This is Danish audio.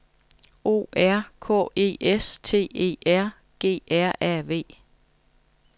O R K E S T E R G R A V